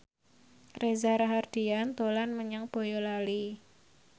Reza Rahardian dolan menyang Boyolali